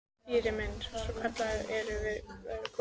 Týri minn, svona kallinn, nú erum við að verða komin.